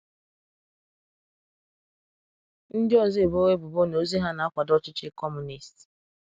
Ndị ọzọ ebowo ebubo na ozi hà na-akwado Ọchịchị Kọmunist.